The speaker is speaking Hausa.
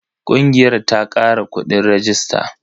Ƙungiyar ta kara kuɗin rajista.